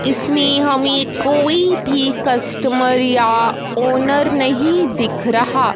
इसमें हमें कोई भी कस्टमर या ओनर नहीं दिख रहा।